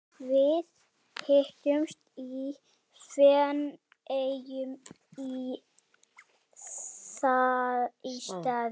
Við hittumst í Feneyjum í staðinn.